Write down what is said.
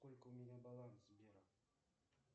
сколько у меня баланс сбер